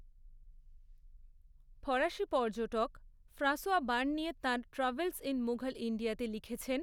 ফরাসি পর্যটক François Bernier তাঁর ট্র্যাভেলস ইন মুঘল ইণ্ডিয়াতে লিখেছেন